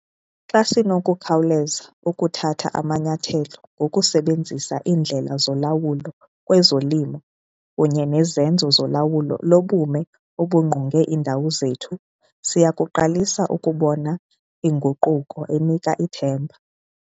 Xa sinokukhawuleza ukuthatha amanyathelo ngokusebenzisa iindlela zolawulo kwezolimo kunye nezenzo zolawulo lobume obungqonge iindawo zethu, siya kuqalisa ukubona inguquko enika ithemba.